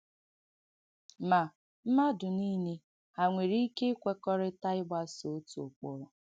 Ma, mmadụ niile hà nwere ike īkwèkọ́ọ̀rị́tà īgbàsọ̀ ọ̀tụ ụ̀kpụrụ?